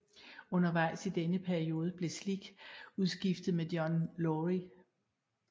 Undervejes i denne periode blev Slick udskiftet med John Lawry